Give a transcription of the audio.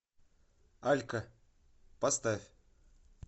алька поставь